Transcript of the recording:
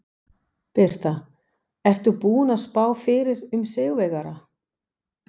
Birta: Ertu búinn að spá fyrir um sigurvegara?